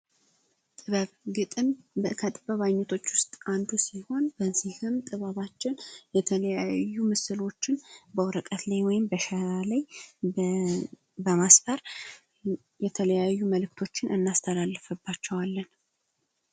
ግጥም ከጥበብ አይነቶች ውስጥ አንዱ ሲሆን በዚህም ጥበባችን የተለያዩ ምስሎችን በወረቀት ላይ ወይም በሸራ ላይ በማስፈር የተለያዩ መልዕክቶችን ማስተላለፍባቸዋለን።